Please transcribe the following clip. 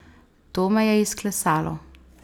To me je izklesalo.